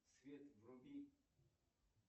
свет вруби